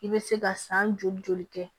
I bɛ se ka san joli joli kɛ